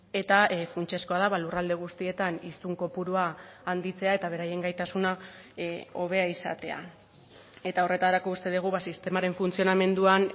eta funtsezkoa da lurralde guztietan hiztun kopurua handitzea eta beraien gaitasuna hobea izatea eta horretarako uste dugu sistemaren funtzionamenduan